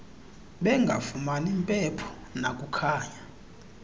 bengafumani mpepho nakukhanya